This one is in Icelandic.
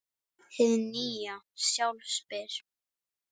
Hið nýja sjálf spyr